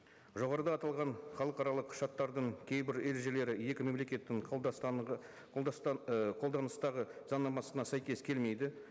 жоғарыда аталған халықаралық шарттардың кейбір ережелері екі мемлекеттің қолданыстағы заңнамасына сәйкес келмейді